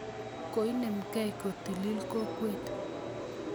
Koinemkei kotilil kokwet